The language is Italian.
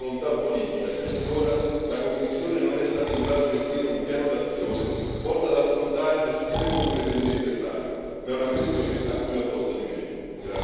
È solo una questione di volontà politica se finora la Commissione non è stata in grado di offrire un piano d'azione volto ad affrontare le sfide comuni del Mediterraneo, ma è una questione a cui va posto rimedio.